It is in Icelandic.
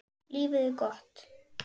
Lífið er gott.